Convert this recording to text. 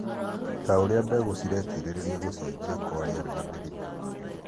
ta ũrĩa mbegũ ciretirĩrĩria gũcenjia kwa rĩera na mĩrĩmũ,